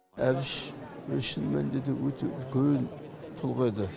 әбіш шын мәнінде де өте үлкен тұлға еді